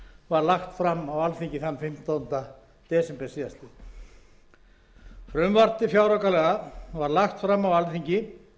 lagt fram á alþingi fimmtánda desember síðastliðnum frumvarp til fjáraukalaga var lagt fram á alþingi